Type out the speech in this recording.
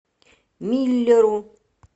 миллеру